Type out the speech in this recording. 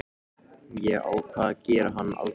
Ég ákvað að gera hann afbrýðisaman.